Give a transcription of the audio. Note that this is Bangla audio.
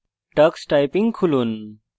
tux typing খুলুন